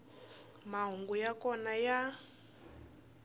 mahungu ya kona a ya